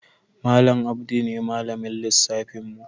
Malam Audu ne malamin lissafin mu.